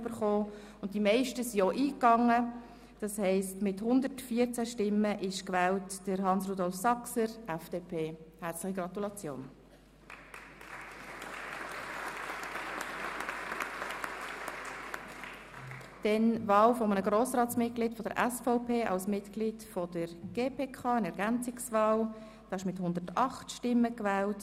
Bei 117 ausgeteilten und 114 eingegangenen Wahlzetteln, wovon leer 6 und ungültig 0, in Betracht fallend 108, wird bei einem absoluten Mehr von 55 gewählt: